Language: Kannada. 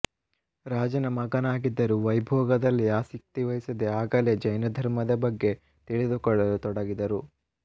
ರಾಜನ ಮಗನಾಗಿದ್ದರೂ ವೈಭೋಗದಲ್ಲಿ ಆಸಕ್ತಿ ವಹಿಸದೇ ಆಗಲೇ ಜೈನ ಧರ್ಮದ ಬಗ್ಗೆ ತಿಳಿದುಕೊಳ್ಳಲು ತೊಡಗಿದರು